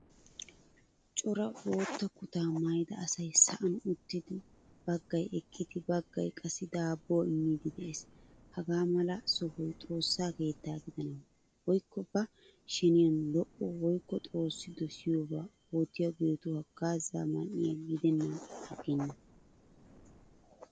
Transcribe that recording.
Cora boottaa kutta maayida asay sa'an uttidi baggaay eqqidi baggay qassi daabuwaa immidi de'ees. Hagaa mala sohoy xoossaa keetta gidana woykko ba sheniyan lo'o woykko xoossi dosiyaba uttiyagettu haggaaza man'iyaa gidenan aggena.